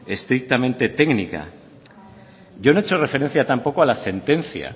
estrictamente técnica yo no he hecho referencia tampoco a la sentencia